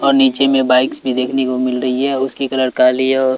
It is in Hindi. और नीचे में बाइक्स भी देखने को मिल रही है उसकी कलर काली और--